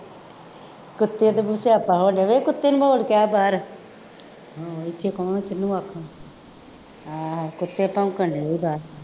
ਕੁੱਤੇ ਦਾ ਵੀ ਸਿਆਪਾ ਹੋ ਜਾਵੇ, ਕੁੱਤੇ ਨੂੰ ਮੋੜ ਕੇ ਆ ਬਾਹਰ, ਹਾਂ ਇੱਥੇ ਕੌਣ ਕਿਹਨੂੰ ਆਖੂ, ਹਾਂ ਕੁੱਤੇ ਭੌਂਕਣ ਡੇ ਸੀ ਬਾਹਰ